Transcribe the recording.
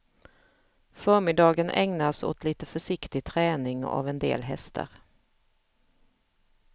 Förmiddagen ägnas åt lite försiktig träning av en del hästar.